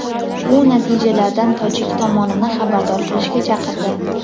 u natijalardan tojik tomonini xabardor qilishga chaqirdi.